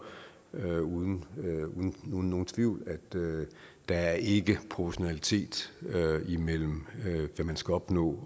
uden nogen tvivl at der i det er proportionalitet imellem hvad man skal opnå og